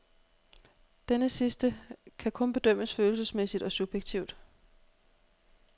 Denne sidste kan kun bedømmes følelsesmæssigt og subjektivt.